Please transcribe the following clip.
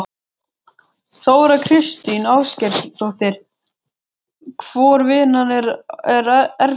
Þóra Kristín Ásgeirsdóttir: Hvor vinnan er erfiðari?